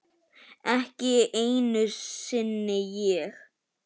Ekki einu sinni ég!